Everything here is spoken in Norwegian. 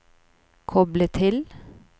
koble til